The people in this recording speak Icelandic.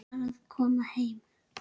Var að koma heim.